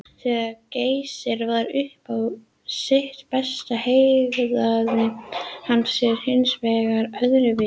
Þegar Geysir var upp á sitt besta hegðaði hann sér hins vegar öðruvísi.